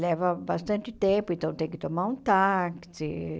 Leva bastante tempo, então tem que tomar um táxi.